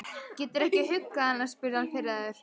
Geturðu ekki huggað hana? spurði hann pirraður.